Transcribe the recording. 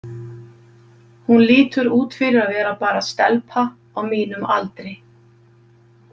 Hún lítur út fyrir að vera bara stelpa á mínum aldri.